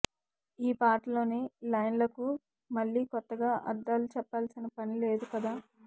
ఈ పాటలోని లైన్లకు మళ్లీ కొత్తగా అర్థాలు చెప్పాల్సిన పని లేదు కదా